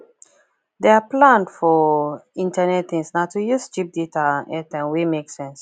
der plan for internet things na to use cheap data and airtime wey make sense